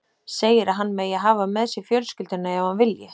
Segir að hann megi hafa með sér fjölskylduna ef hann vilji.